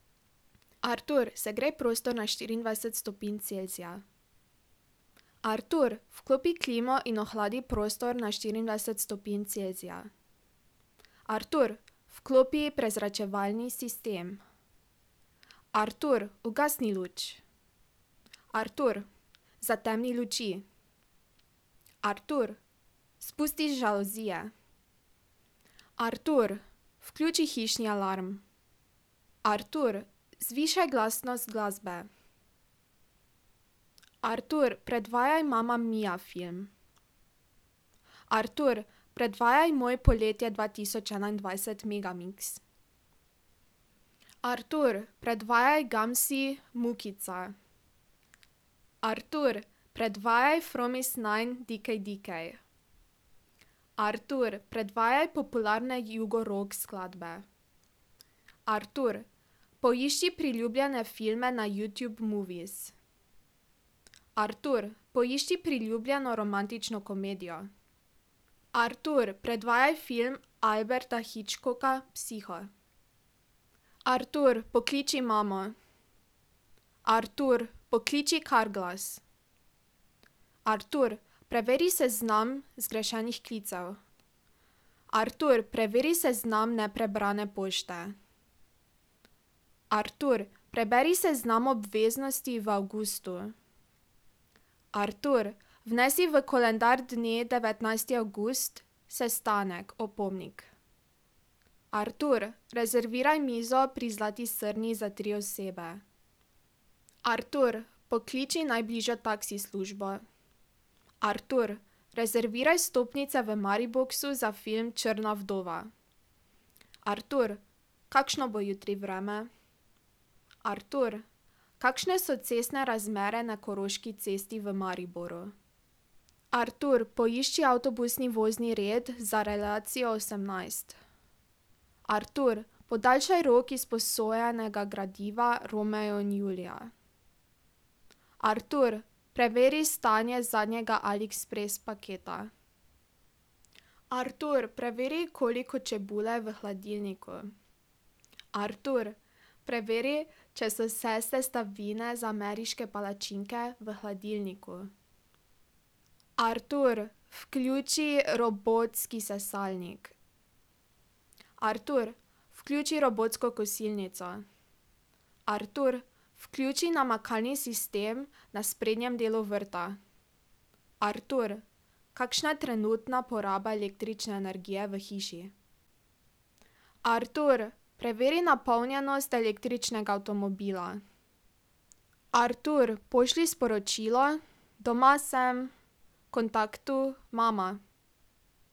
Artur, segrej prostor na štiriindvajset stopinj Celzija. Artur, vklopi klimo in ohladi prostor na štiriindvajset stopinj Celzija. Artur, vklopi prezračevalni sistem. Artur, ugasni luč. Artur, zatemni luči. Artur, spusti žaluzije. Artur, vključi hišni alarm. Artur, zvišaj glasnost glasbe. Artur, predvajaj Mamma Mia film. Artur, predvajaj moj Poletje dva tisoč enaindvajset megamiks. Artur, predvajaj Gamsi Mukica. Artur, predvajaj Fromis-nine DKDK. Artur, predvajaj popularne jugorock skladbe. Artur, poišči priljubljene filme na Youtube Movies. Artur, poišči priljubljeno romantično komedijo. Artur, predvajaj film Alberta Hitchcock Psiho. Artur, pokliči imamo. Artur, pokliči Carglass. Artur, preveri seznam zgrešenih klicev. Artur, preveri seznam neprebrane pošte. Artur, preberi seznam obveznosti v avgustu. Artur, vnesi v koledar dne devetnajsti avgust sestanek opomnik. Artur, rezerviraj mizo pri Zlati srni za tri osebe. Artur, pokliči najbližjo taksi službo. Artur, rezerviraj vstopnice v Mariboxu za film Črna vdova. Artur, kakšno bo jutri vreme? Artur, kakšne so cestne razmere na Koroški cesti v Mariboru? Artur, poišči avtobusni vozni red za relacijo osemnajst. Artur, podaljšaj rok izposojenega gradiva Romeo in Julija. Artur, preveri stanje zadnjega Aliexpress paketa. Artur, preveri, koliko čebule je v hladilniku. Artur, preveri, če so vse sestavine za ameriške palačinke v hladilniku. Artur, vključi robotski sesalnik. Artur, vključi robotsko kosilnico. Artur, vključi namakalni sistem na sprednjem delu vrta. Artur, kakšna je trenutna poraba električne energije v hiši? Artur, preveri napolnjenost električnega avtomobila. Artur, pošlji sporočilo: "Doma sem" kontaktu Mama.